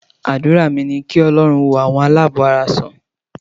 Àdúrà mi ní kí Ọlọ́run wo àwọn aláàbọ̀ara sàn.